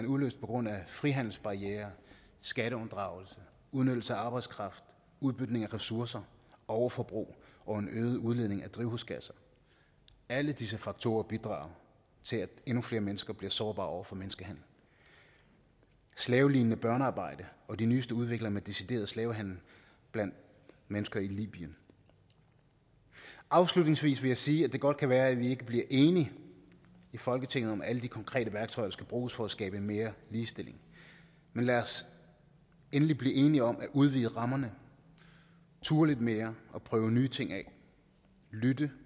udløst på grund frihandelsbarrierer skatteunddragelse udnyttelse af arbejdskraft udbytning af ressourcer overforbrug og en øget udledning af drivhusgasser alle disse faktorer bidrager til at endnu flere mennesker bliver sårbare over for menneskehandel slavelignende børnearbejde og de nyeste udviklinger med decideret slavehandel blandt menneske i libyen afslutningsvis vil jeg sige at det godt kan være at vi ikke bliver enige i folketinget om at alle de konkrete værktøjer skal bruges for at skabe mere ligestilling men lad os endelig blive enige om at udvide rammerne turde lidt mere og prøve nye ting af lytte